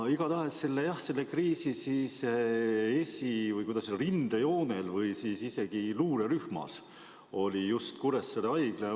Igatahes, jah, selle kriisi esi- või, kuidas öelda, rindejoonel või isegi luurerühmas oli just Kuressaare Haigla.